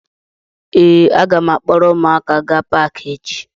Ee, a ga m akpọrọ ụmụaka gaa Paakị echi